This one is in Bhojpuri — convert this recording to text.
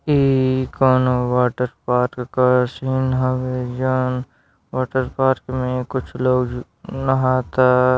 इ कोनो वॉटर पार्क का सीन हवे जउन वॉटर पार्क में कुछ लोग नहाता।